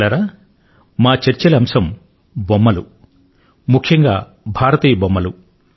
మిత్రులారా మా చర్చల అంశం బొమ్మలు మరీ ముఖ్యంగా భారతీయ బొమ్మలు